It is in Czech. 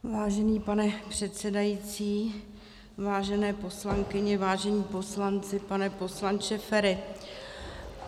Vážený pane předsedající, vážené poslankyně, vážení poslanci, pane poslanče Feri.